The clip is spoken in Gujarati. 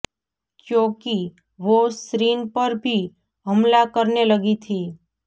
ક્યો કી વો શ્રીન પર ભી હમલા કરને લગી થી